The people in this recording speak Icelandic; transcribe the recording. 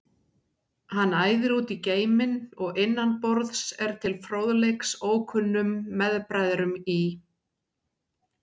Hann æðir út í geiminn og innan borðs er til fróðleiks ókunnum meðbræðrum í